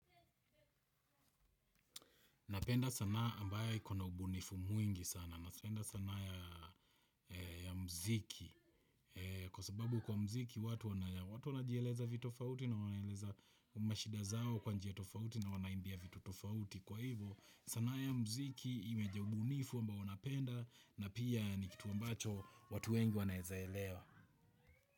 Napenda sanaa ambaye ikona ubunifu mwingi sana. Napenda sana ya mziki. Kwa sababu kwa mziki watu wanajieleza vitofauti na wanaeleza mashida zao kwa njia tofauti na wanaimbia vitu tofauti. Kwa hivyo sanaa ya mziki imejaa ubunifu ambao napenda na pia ni kitu mbacho watu wengi wanaezaelewa.